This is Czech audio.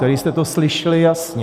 Tady jste to slyšeli jasně.